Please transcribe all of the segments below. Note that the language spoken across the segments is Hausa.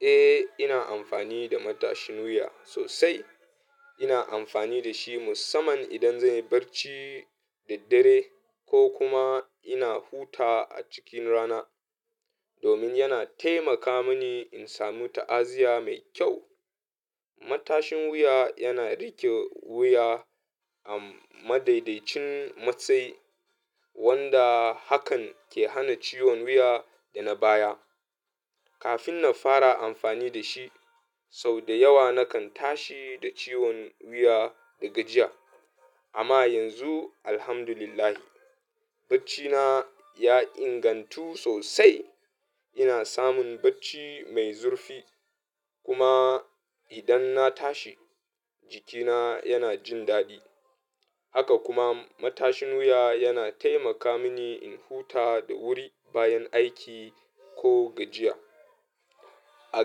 Eh, ina amfani da matashin wuya sosai. Ina amfani da shi musamman idan zan yi barci da dare ko kuma ina huta a cikin rana domin yana taimaka mini in sami ta'aziyya mai kyau. Matashin wuya yana riƙe wuya a madaidaicin matsayi wanda hakan ke hana ciwon wuya da na baya. Kafin na fara amfani da shi sau da yawa nakan tashi da ciwon wuya da gajiya amma yanzu Alhamdulillah, bacci na ya ingantu sosai. Ina samun bacci mai zurfi kuma idan na tashi jikina yana jin daɗi. Haka kuma matashin wuya yana taimaka mini in huta da wuri bayan aiki ko gajiya. A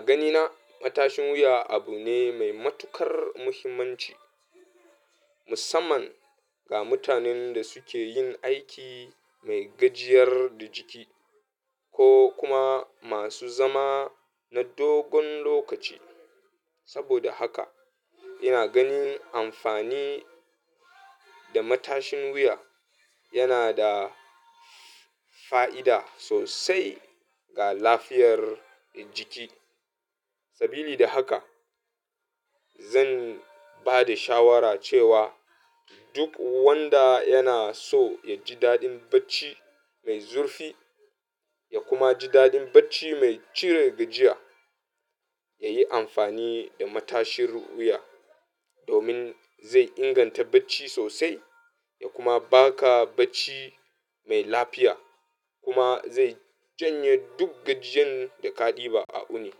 ganina matashin wuya abu ne mai matukar muhimmanci musamman ga mutanen da suke yin aiki mai gajiyar da jiki ko kuma masu zama na dogon lokaci. Saboda haka ina ganin amfani da matashin wuya yana da fa'ida sosai ga lafiyar jiki. Sabili da haka zan ba da shawara cewa duk wanda yana so ya ji daɗin bacci mai zurfi ya kuma ji daɗin bacci mai cire gajiya, ya yi amfani da matashin wuya domin zai inganta bacci sosai ya kuma ba ka bacci mai lafiya kuma zai janye duk gajiyan da ka ɗiba a ƙuni.